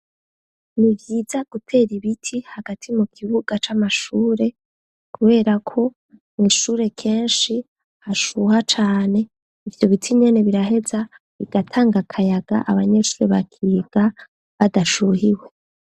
Ni vyiza gutera ibiti hagati mu kibuga c'amashure, kubera ko mu ishure kenshi hashuha cane. Ivyo biti nyene biraheza bigatanga akayaga abanyeshure bakiga badashuhiwe.